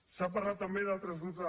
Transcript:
s’ha parlat també per altres grups